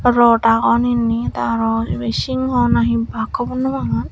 rot agon innit araw ibe singoh na hi bak hobor nopangor.